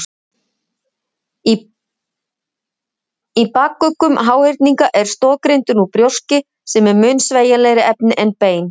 Í bakuggum háhyrninga er stoðgrindin úr brjóski sem er mun sveigjanlegra efni en bein.